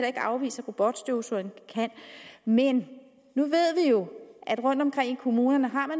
ikke afvise at robotstøvsugeren kan men nu ved vi jo at man rundtomkring i kommunerne